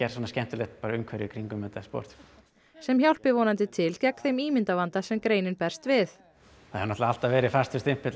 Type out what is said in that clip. svona skemmtilegt umhverfi í kringum þetta sport sem hjálpi vonandi til gegn þeim ímyndarvanda sem greinin berst við það hefur alltaf verið fastur stimpill